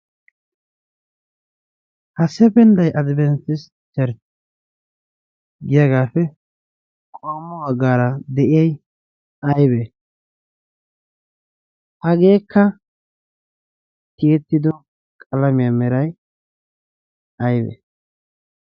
ha sependday addpanatis chertt giyaagaappe qommo baggaara de'iyay aybee hageekka tiyettido qalamiyaa meray aybe?